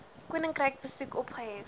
koninkryk besoek opgehef